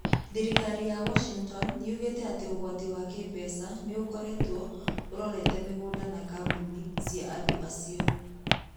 Thirikari ya Washington yugĩte atĩ ũgwati wa kĩĩmbeca nĩ ũkoretwo ũrorete mĩgũnda na kambuni cia andũ acio.